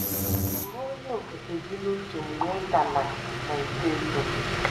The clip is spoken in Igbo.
“ Buru Onye Okike gị n’uche mgbe ị ka na na - eto eto!